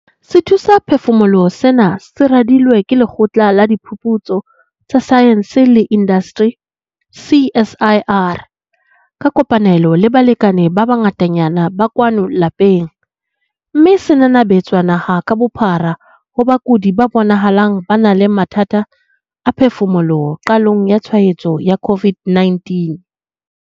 Sethusaphefumoloho sena se radilwe ke Lekgotla la Diphuputso tsa Saense le Indasteri, CSIR, ka kopanelo le balekane ba bangatanyana ba kwano lapeng, mme se nanabetswa naha ka bophara ho bakudi ba bonahalang ba na le mathata a phefumoloho qalehong ya tshwaetso ya COVID-19.